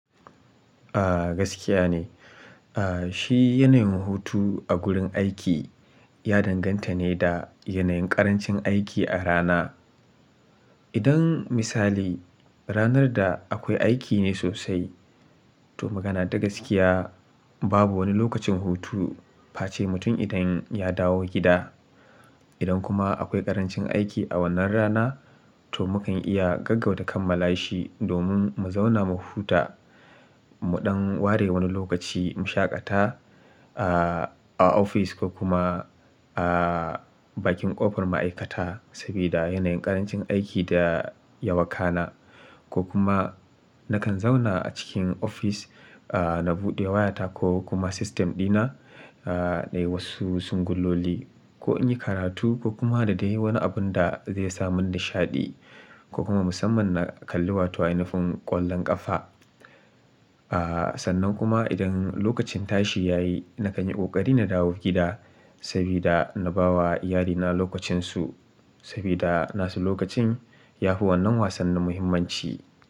A gaskiya ne. A shi yanayin hutu a gurin aiki ya danganta ne da yanayin ƙarancin aiki a rana. Idan misali, ranar da akwai aiki ne sosai to magana ta gaskiya babu wani lokacin hutu face mutum idan ya dawo gida. Idan kuma akwai ƙarancin aiki a wannan rana to mu kan iya gaggauta kammala shi domin mu zauna mu huta. Mu ɗan ware wani lokaci mu shaƙata a ofis ko kuma a bakin ƙofar ma'aikata sabida yanayin ƙarancin aiki da ya wakana. Ko kuma na kan zauna a cikin ofis a na buɗe wayata ko kuma system dina a nayi wasu singuloli ko in yi karatu ko kuma dadai wani abun da zai sa mun nishaɗi ko kuma musamman na kalli wata inufun ƙwallon ƙafa. A sannan kuma idan lokacin tashi ya yi na kan yi ƙoƙari na dawo gida sabida na ba wa iyalina lokacinsu sabida nasu lokacin yafi wannan wassannin muhimmanci.